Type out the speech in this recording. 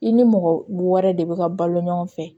I ni mɔgɔ wɛrɛ de bɛ ka balo ɲɔgɔn fɛ